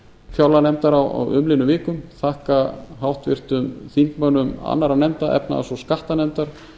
fjárlaganefndar á umliðnum vikum þakka háttvirtum þingmönnum annarra nefnda efnahags og skattanefndar